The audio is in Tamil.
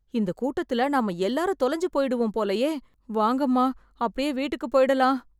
இந்த கூட்டத்தில நாம எல்லாரும் தொலைஞ்சு போயிடுவோம் போலயே, வாங்கம்மா அப்படியே வீட்டுக்குப் போய்டலாம்.